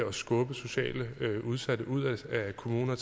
at skubbe socialt udsatte ud af kommunen og